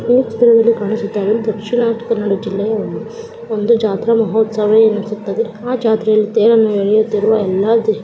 ಈ ಚಿತ್ರದಲ್ಲಿ ಕಾಣಿಸುತ್ತಾ ಇರುವುದು ದಕ್ಷಿಣ ಕನ್ನಡ ಜಿಲ್ಲೆಯ ಒಂದು ಜಾತ್ರಾ ಮಹೋತ್ಸವ ಎನಿಸುತ್ತಿದೆ ಆ ಜಾತ್ರೆಯಲ್ಲಿ ತೇರನ್ನು ಎಳಿಯುತ್ತಿರುವ ಎಲ್ಲಾ --